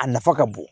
A nafa ka bon